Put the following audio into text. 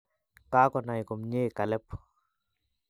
Kagonay komnyei Caleb